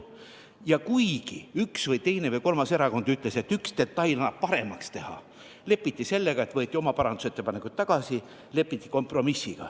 Ja kuigi üks või teine või kolmas erakond ütles, et mõne detaili annab paremaks teha, lepiti kompromissiga, võeti oma parandusettepanekuid tagasi.